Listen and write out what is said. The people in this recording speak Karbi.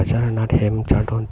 achar nat hem chardon ta--